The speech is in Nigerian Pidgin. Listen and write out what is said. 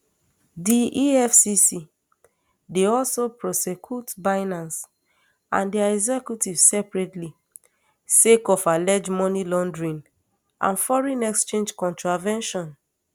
di efcc dey also prosecute binance and dia executives separately sake of alleged money laundering and foreign exchange contravention